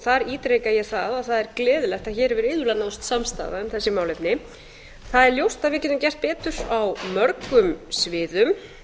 þar ítreka ég að það er gleðilegt að hér hefur iðulega náðst samstaða um þessi málefni það er ljóst að við getum gert betur á mörgum sviðum